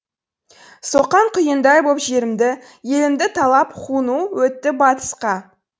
соққан құйындай боп жерімді елімді талап хуну өтті батысқа